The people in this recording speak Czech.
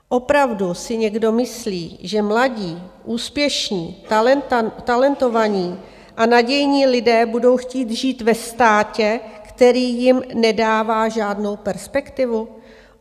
Opravdu si někdo myslí, že mladí, úspěšní, talentovaní a nadějní lidé budou chtít žít ve státě, který jim nedává žádnou perspektivu?